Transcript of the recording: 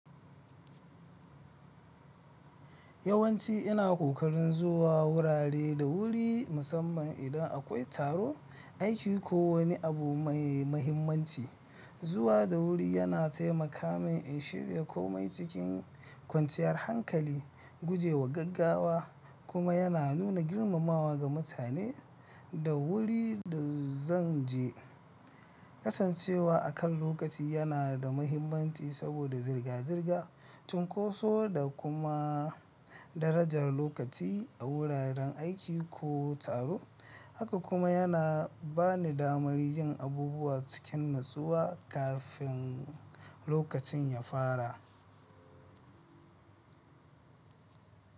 Yawanci ina ƙoƙarin zuwa wurare da wuri musamman idan akwai taro, aiki ko wani abu mai mahimmanci. Zuwa da wuri yana taimaka min in shirya komai cikin kwanciyar hankali, guje wa gaggawa kuma yana nuna girmamawa ga mutane da wurin da zan je. Kasancewa a kan lokaci yana da mahimmanci saboda zirga-zirga, cunkoso da kuma darajar lokaci a wuraren aiki ko taro, haka kuma yana bani damar yin abubuwa cikin natsuwa kafin lokacin ya fara.